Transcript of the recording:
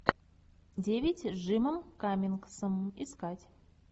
девять с джимом каммингсом искать